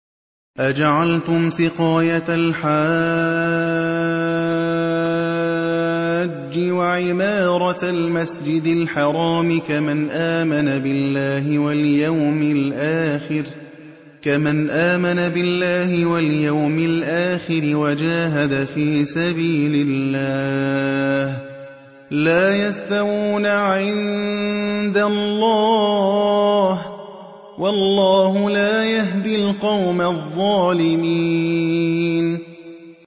۞ أَجَعَلْتُمْ سِقَايَةَ الْحَاجِّ وَعِمَارَةَ الْمَسْجِدِ الْحَرَامِ كَمَنْ آمَنَ بِاللَّهِ وَالْيَوْمِ الْآخِرِ وَجَاهَدَ فِي سَبِيلِ اللَّهِ ۚ لَا يَسْتَوُونَ عِندَ اللَّهِ ۗ وَاللَّهُ لَا يَهْدِي الْقَوْمَ الظَّالِمِينَ